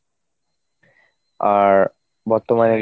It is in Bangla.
আর বর্তমানে